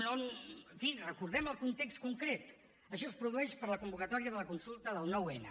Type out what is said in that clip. en fi recordem el context concret això es produeix per la convocatòria de la consulta del nou n